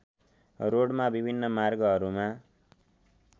रोडमा विभिन्न मार्गहरूमा